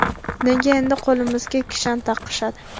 Nega endi qo‘limizga kishan taqishadi?